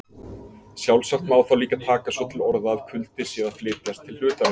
Sjálfsagt má þá líka taka svo til orða að kuldi sé að flytjast til hlutarins.